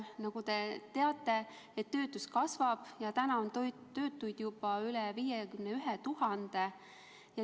Nagu te teate, töötus kasvab ja täna on töötuid juba üle 51 000.